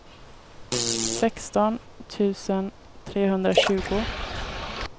sexton tusen trehundratjugo